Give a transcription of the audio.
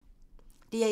DR1